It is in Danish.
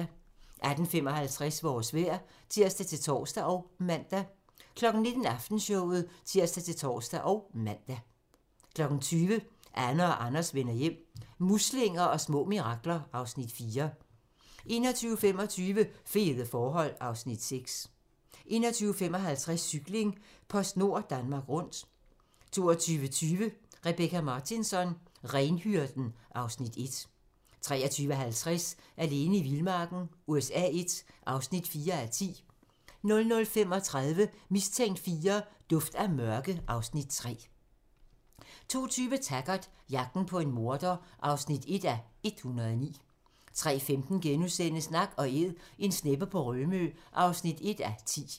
18:55: Vores vejr (tir-tor og man) 19:00: Aftenshowet (tir-tor og man) 20:00: Anne og Anders vender hjem - muslinger og små mirakler (Afs. 4) 21:25: Fede forhold (Afs. 6) 21:55: Cykling: PostNord Danmark Rundt 22:20: Rebecka Martinsson: Renhyrden (Afs. 1) 23:50: Alene i vildmarken USA I (4:10) 00:35: Mistænkt IV: Duft af mørke (Afs. 3) 02:20: Taggart: Jagten på en morder (1:109) 03:15: Nak & Æd - en sneppe på Rømø (1:10)*